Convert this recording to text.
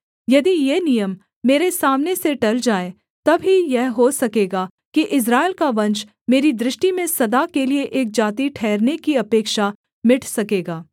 यदि ये नियम मेरे सामने से टल जाएँ तब ही यह हो सकेगा कि इस्राएल का वंश मेरी दृष्टि में सदा के लिये एक जाति ठहरने की अपेक्षा मिट सकेगा